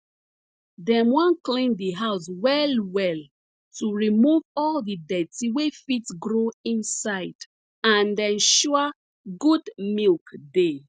dem wan clean di house well well to remove all de dirty wey fit grow inside and ensure good milk dey